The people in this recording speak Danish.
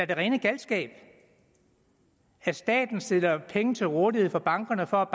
det rene galskab at staten stiller penge til rådighed for bankerne for